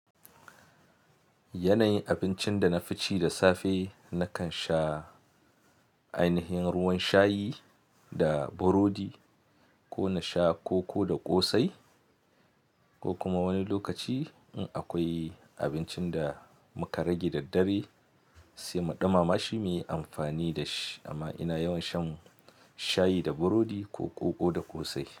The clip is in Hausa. Yanayin abincinda nafici da safe, nakan sha ainihin ruwan shayi da burodi ko nasha koko da ƙosai, ko kuma wani lokaci in akwai abincin da muka rage daddare sai muɗumama shi muyi amfani dashi amma ina yawan shan shayi da burodi ko koko da ƙosai.